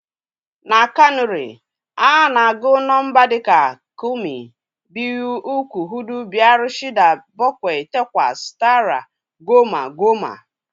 . Na Kanuri, a na-agụ nọmba dị ka kúrmi, biyu, ukku, hudú, biyar, shída, bákwai, tákwas, tárwa, góma, góma